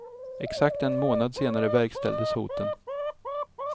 Exakt en månad senare verkställdes hoten.